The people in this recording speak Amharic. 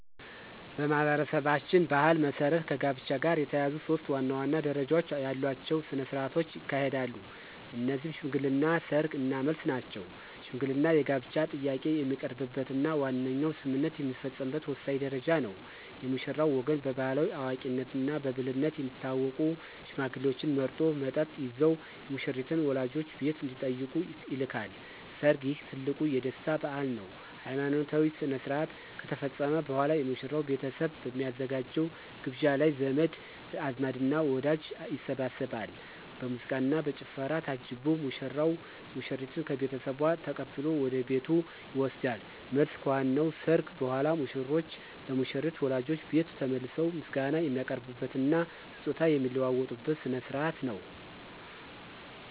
በማኅበረሰባችን ባሕል መሠረት ከጋብቻ ጋር የተያያዙ ሦስት ዋና ዋና ደረጃዎች ያሏቸው ሥነ ሥርዓቶች ይካሄዳሉ። እነዚህም ሽምግልና፣ ሰርግ እና መልስ ናቸው። ሽምግልና የጋብቻ ጥያቄ የሚቀርብበትና ዋነኛው ስምምነት የሚፈጸምበት ወሳኝ ደረጃ ነው። የሙሽራው ወገን በባሕላዊ አዋቂነትና ብልህነት የሚታወቁ ሽማግሌዎችን መርጦ፣ መጠጥ ይዘው የሙሽሪትን ወላጆች ቤት እንዲጠይቁ ይልካል። ሰርግ: ይህ ትልቁ የደስታ በዓል ነው። ሃይማኖታዊ ሥርዓት ከተፈጸመ በኋላ፣ የሙሽራው ቤተሰብ በሚያዘጋጀው ግብዣ ላይ ዘመድ አዝማድና ወዳጅ ይሰባሰባል። በሙዚቃና በጭፈራ ታጅቦ ሙሽራው ሙሽሪትን ከቤተሰቧ ተቀብሎ ወደ ቤቱ ይወስዳል። መልስ: ከዋናው ሰርግ በኋላ፣ ሙሽሮች ለሙሽሪት ወላጆች ቤት ተመልሰው ምስጋና የሚያቀርቡበትና ስጦታ የሚለዋወጡበት ሥነ ሥርዓት ነው።